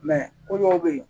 ko dɔw bɛ yen